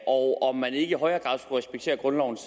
og om man ikke i højere grad respektere grundlovens